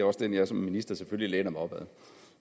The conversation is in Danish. også den jeg som minister selvfølgelig læner mig op ad